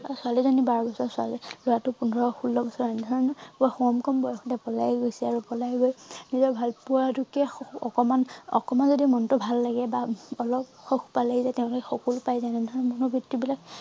ছোৱালী জনী বাৰ বছৰ ছোৱালী লৰাটো পোন্ধৰ ষোল্ল বছৰ এনেধৰণৰ কম কম বয়সতে পলাই গৈছে আৰু পলাই গৈ নিজৰ ভাল পোৱাটোকে অকমান অকমান যদি মনটো ভাল লাগে বা অলপ সুখ পালে এইযে তেওঁলোকে সকলো পাই তেনেধৰণৰ মনোবিত্তি বিলাক